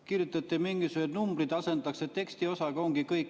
Kirjutate, et mingisugused numbrid asendatakse tekstiosaga, ja ongi kõik.